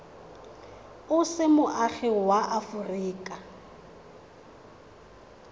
o se moagi wa aforika